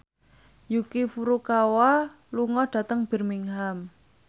Yuki Furukawa lunga dhateng Birmingham